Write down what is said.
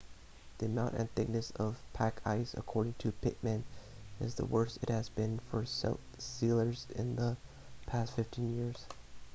the amount and thickness of the pack ice according to pittman is the worst it has been for sealers in the past 15 years